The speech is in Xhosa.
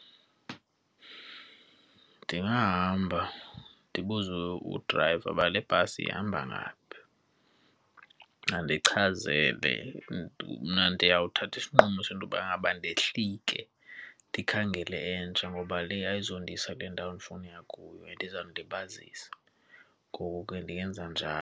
Ndingahamba ndibuze udrayiva uba le bhasi ihamba ngaphi, andichazele. Mna ndiyawuthatha isinqumo sento yobangaba ndehlike ndikhangele entsha ngoba le ayizundisa kule ndawo endifuna uya kuyo and izandilibazisa. Ngoku ke ndingenza .